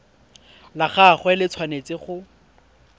la gagwe le tshwanetse go